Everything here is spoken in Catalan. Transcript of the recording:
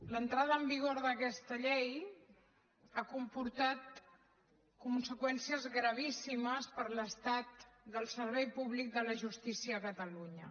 l’entrada en vigor d’aquesta llei ha comportat conseqüències gravíssimes per a l’estat del servei públic de la justícia a catalunya